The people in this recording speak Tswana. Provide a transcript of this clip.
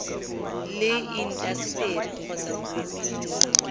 le intaseteri kgotsa boemedi jwa